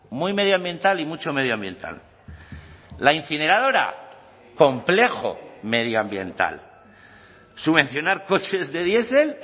muy medioambiental y mucho medioambiental la incineradora complejo medioambiental subvencionar coches de diesel